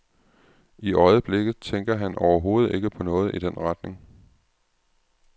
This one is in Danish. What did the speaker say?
I øjeblikket tænker han overhovedet ikke på noget i den retning.